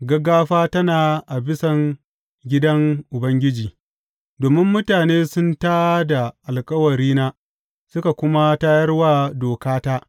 Gaggafa tana a bisan gidan Ubangiji domin mutane sun tā da alkawarina suka kuma tayar wa dokata.